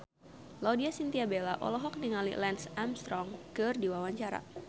Laudya Chintya Bella olohok ningali Lance Armstrong keur diwawancara